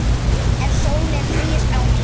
En sólin rís á ný.